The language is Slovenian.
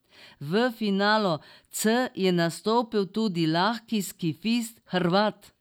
V finalu C je nastopil tudi lahki skifist Hrvat.